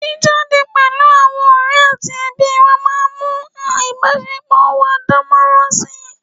jíjáde pẹ̀lú àwọn ọ̀rẹ́ àti ẹbí wa máa ń mú ìbásepọ̀ wa dánmọ́nrán si